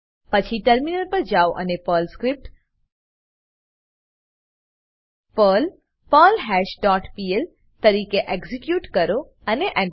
પછી ટર્મિનલ પર જાઓ અને Perl script Perl perlhash dot PL તરીકે એક્ઝીક્યુટ કરો અને Enter